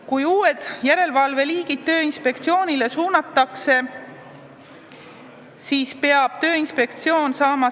Kui uut liiki järelevalve Tööinspektsioonile suunatakse, siis peab inspektsioon saama ...